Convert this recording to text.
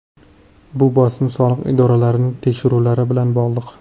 Bu bosim soliq idoralarining tekshiruvlari bilan bog‘liq.